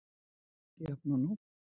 Jafn og nú.